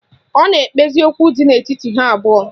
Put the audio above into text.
Ọ na-ekpezi okwu dị n'etiti ha abụọ